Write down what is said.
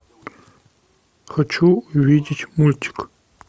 хочу увидеть мультик